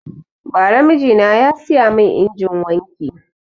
Bara mijina ya siya mun injinin wanki